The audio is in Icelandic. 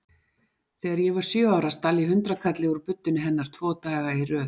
Þegar ég var sjö ára stal ég hundraðkalli úr buddunni hennar tvo daga í röð.